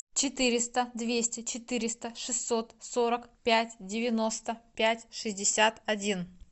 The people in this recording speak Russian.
четыреста двести четыреста шестьсот сорок пять девяносто пять шестьдесят один